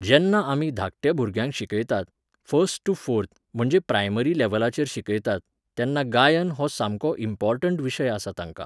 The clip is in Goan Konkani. जेन्ना आमी धाकट्या भुरग्यांक शिकयतात, फर्स्ट टू फोर्थ, म्हणजे प्रायमरी लॅव्हलाचेर शिकयतात, तेन्ना 'गायन' हो सामको इम्पॉर्टण्ट विशय आसा तांकां.